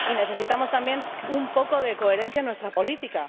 Y necesitamos también un poco de coherencia en nuestra política.